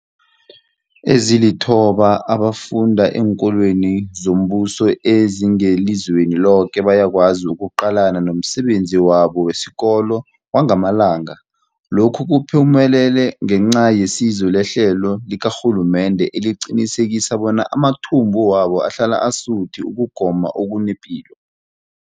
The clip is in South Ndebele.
Ezilithoba abafunda eenkolweni zombuso ezingelizweni loke bayakwazi ukuqalana nomsebenzi wabo wesikolo wangamalanga. Lokhu kuphumelele ngenca yesizo lehlelo likarhulumende eliqinisekisa bona amathumbu wabo ahlala asuthi ukugoma okunepilo.